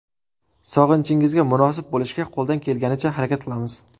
Sog‘inchingizga munosib bo‘lishga qo‘ldan kelganicha harakat qilamiz.